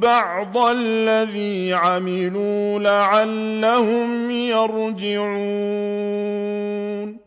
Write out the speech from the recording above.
بَعْضَ الَّذِي عَمِلُوا لَعَلَّهُمْ يَرْجِعُونَ